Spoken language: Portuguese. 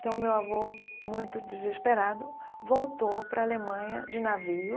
Então, meu avô, muito desesperado, voltou para a Alemanha de navio,